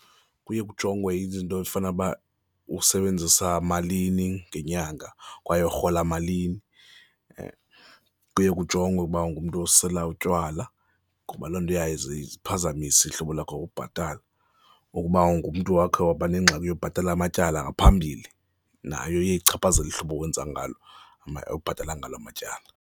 Kuye kujongwe izinto ezifana uba, usebenzisa malini ngenyanga kwaye urhola malini. Kuye kujongwe ukuba ungumntu osela utywala, ngoba loo nto isiphazamise ihlobo lakho kubhatala, ukuba ngumntu owakhe waba nengxaki yobhatala amatyala ngaphambili, nayo iye ichaphazele ihlobo owenza ngalo, obhatala ngalo matyala.